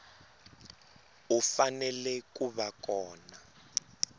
u fanele ku va kona